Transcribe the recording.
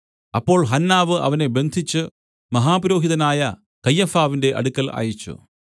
അപ്പോൾ ഹന്നാവ് അവനെ ബന്ധിച്ച് മഹാപുരോഹിതനായ കയ്യഫാവിന്റെ അടുക്കൽ അയച്ചു